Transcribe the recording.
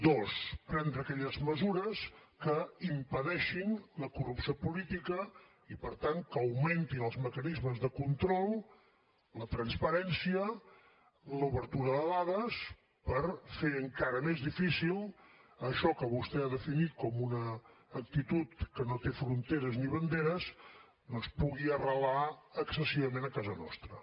dos prendre aquelles mesures que impedeixin la corrupció política i per tant que augmentin els mecanismes de control la transparència l’obertura de dades per fer encara més difícil que això que vostè ha definit com una actitud que no té fronteres ni banderes doncs pugui arrelar excessivament a casa nostra